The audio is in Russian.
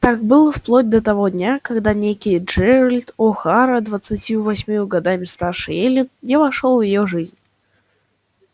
так было вплоть до того дня когда некий джералд охара двадцатью восемью годами старше эллин не вошёл в её жизнь